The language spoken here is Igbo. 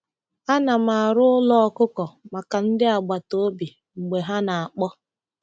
Ana m arụ ụlọ ọkụkọ maka ndị agbata obi mgbe ha na-akpọ.